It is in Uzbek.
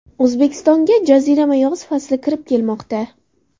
O‘zbekistonga jazirama yoz fasli kirib kelmoqda.